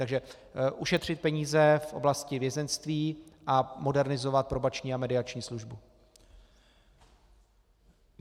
Takže ušetřit peníze v oblasti vězeňství a modernizovat probační a mediační službu.